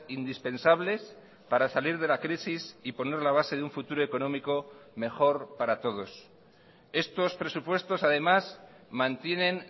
indispensables para salir de la crisis y poner la base de un futuro económico mejor para todos estos presupuestos además mantienen